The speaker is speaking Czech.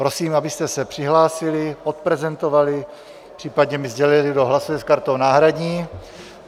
Prosím, abyste se přihlásili, odprezentovali, případně mi sdělili, kdo hlasuje s kartou náhradní.